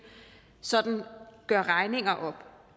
sådan gør regninger op